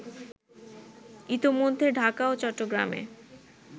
ইতোমধ্যে ঢাকা ও চট্টগ্রামে